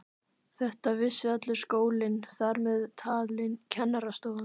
Þetta vissi allur skólinn, þar með talin kennarastofan.